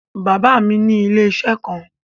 Bàbá mi ní ilé-iṣẹ́ kan.